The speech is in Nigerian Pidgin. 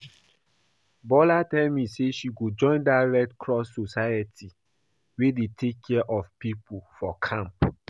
Bola tell me say she go join dat red cross society wey dey take care of people for camp